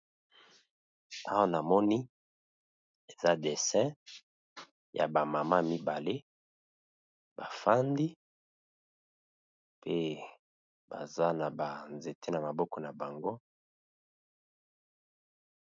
Awa ! Namoni eza dessin , ya bamama mibale . bafandi pe baza na ba nzete na maboko na bango.